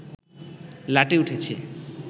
লাটে উঠেছে